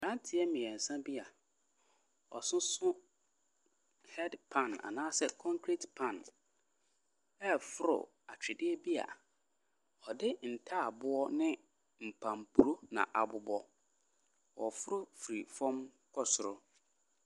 Mmeranteɛ mmeɛnsa bi a wɔsoso headpan anaasɛ concrete pan reforo atwedeɛ bi a wɔde ntaaboo ne npampuro na abobɔ. Wɔreforo firi fam kɔ soro.